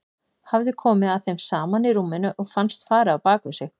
Hafði komið að þeim saman í rúminu og fannst farið á bak við sig.